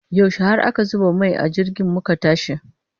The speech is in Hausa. Yaushe har aka zuba mai a jirgin muka tashi?